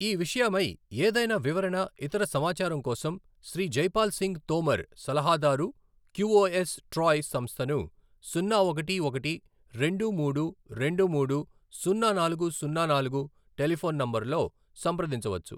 ఈ విషయమై ఏదైనా వివరణ ఇతర సమాచారం కోసం శ్రీ జైపాల్ సింగ్ తోమర్, సలహాదారు క్యూఓఎస్ ట్రాయ్ సంస్థను సున్నా ఒకటి ఒకటి రెండు మూడు రెండు మూడు సున్నా నాలుగు సున్నా నాలుగు టెలిఫోన్ నంబరులో సంప్రదించవచ్చు.